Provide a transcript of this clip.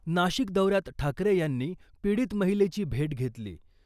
नाशिक दौऱ्यात ठाकरे यांनी पीडित महिलेची भेट घेतली .